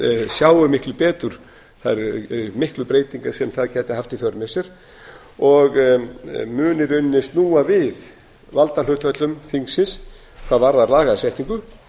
sjái miklu betur þær miklu breytingar sem það gæti haft í för með sér og muni í rauninni snúa við valdahlutföllum þingsins hvað varðar lagasetningu